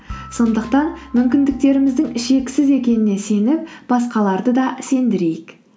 сондықтан мүмкіндіктеріміздің шексіз екеніне сеніп басқаларды да сендірейік